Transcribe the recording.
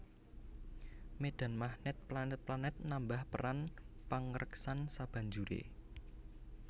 Médhan magnèt planèt planèt nambah peran pangreksan sabanjuré